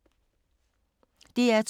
DR2